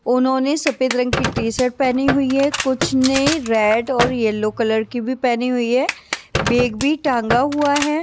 उन्होंने सफेद रंग की टी शर्ट पहनी हुई है कुछ ने रेड और यलो कलर की भी पहनी हुई है बेग भी टांगा हुआ है।